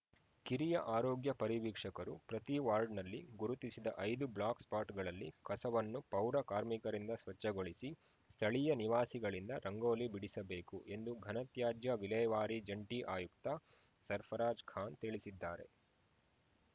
ಕಿರಿಯ ಆರೋಗ್ಯ ಪರಿವೀಕ್ಷಕರು ಪ್ರತಿ ವಾರ್ಡ್‌ನಲ್ಲಿ ಗುರುತಿಸಿದ ಐದು ಬ್ಲಾಕ್‌ಸ್ಟಾಟ್‌ಗಳಲ್ಲಿ ಕಸವನ್ನು ಪೌರಕಾರ್ಮಿಕರಿಂದ ಸ್ವಚ್ಛಗೊಳಿಸಿ ಸ್ಥಳೀಯ ನಿವಾಸಿಗಳಿಂದ ರಂಗೋಲಿ ಬಿಡಿಸಬೇಕುಎಂದು ಘನತ್ಯಾಜ್ಯ ವಿಲೇವಾರಿ ಜಂಟಿ ಆಯುಕ್ತ ಸಫ್‌ರ್‍ರಾಜ್‌ಖಾನ್‌ ತಿಳಿಸಿದ್ದಾರೆ